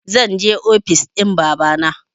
Zanje ofis ɗin babana